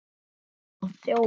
Kallaði þá þjófa.